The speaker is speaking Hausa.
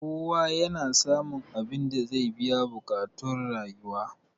kowa yana samun abinda zai biya buƙactun rayuwa